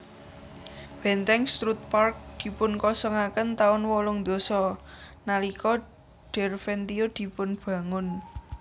Bèntèng Strutt Park dipunkosongaken taun wolung dasa nalika Derventio dipunbangun